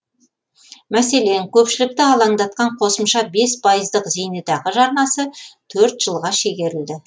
мәселен көпшілікті алаңдатқан қосымша бес пайыздық зейнетақы жарнасы төрт жылға шегерілді